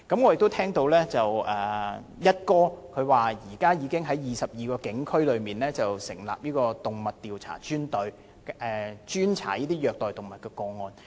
我聽到"一哥"表示，現在已經在22個警區裏成立專隊，專責調查虐待動物的案件。